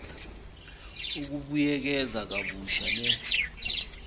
ukubuyekeza kabusha le